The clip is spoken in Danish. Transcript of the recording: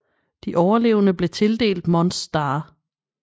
De overlevende blev tildelt Mons Star